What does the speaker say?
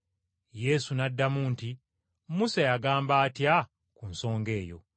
Yesu n’addamu nti, “Musa yagamba atya ku nsonga eyo?”